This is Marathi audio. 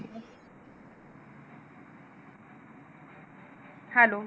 Hello